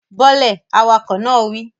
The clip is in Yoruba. Bọ́ lẹ̀, awakọ̀ náà wí